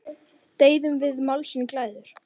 Deyðum við málsins glæður?